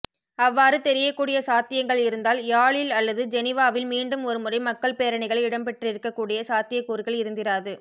அவ்வாறு தெரியக்கூடிய சாத்தியங்கள் இருந்தால் யாழில் அல்லது ஜெனிவாவில் மீண்டும் ஒருமுறை மக்கள் பேரணிகள் இடம்பெற்றிருக்கக் கூடிய சாத்தியக்கூறுகள் இருந்திராது